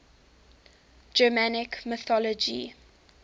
germanic mythology